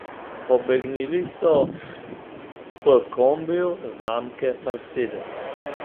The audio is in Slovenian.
Pobegnili so v kombiju znamke mercedes.